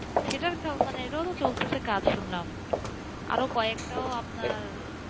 সেটার মানে সেটাও তো চলতেছে কাজ শুনলামআরো কয়েকটা ও আপনার,